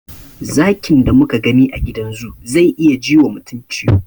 Zakin da muka gani a gidan zoo zai iya ji wa mutum ciwo.